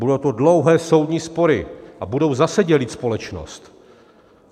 Budou to dlouhé soudní spory a budou zase dělit společnost.